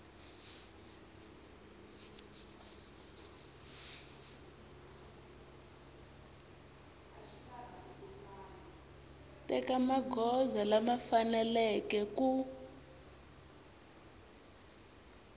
teka magoza lama faneleke ku